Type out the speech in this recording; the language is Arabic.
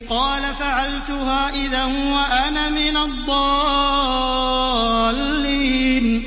قَالَ فَعَلْتُهَا إِذًا وَأَنَا مِنَ الضَّالِّينَ